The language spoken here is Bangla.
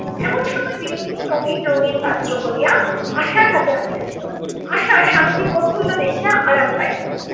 এমন সময় বিনোদিনী নবীন রঙ্গীন পাত্র ভরিয়া আশার হাতে আনিয়া দিল। আশা স্বামীকে প্রফুল্ল দেখিয়া আরাম পাইলো